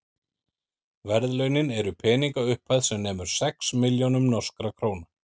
verðlaunin eru peningaupphæð sem nemur sex milljónum norskra króna